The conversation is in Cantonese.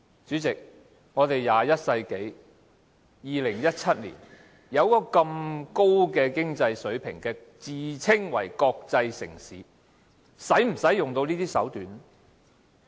主席，現在是21世紀，我們有這麼高的經濟水平，自稱為國際城市，是否要用到這些手段呢？